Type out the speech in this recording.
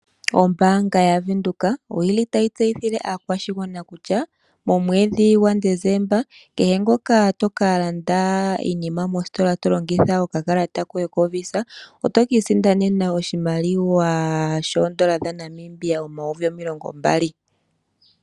Ombaanga yavenduka, oyili tayi tseyithile aakwashigwana kutya, momwedhi gwa Desemba, kehe ngoka toka landa iinima mositola tolongitha okakalata koye koVisa, oto kiisindanena oshimaliwa shoye shoondola dhaNamibia omayovi omilongo mbali.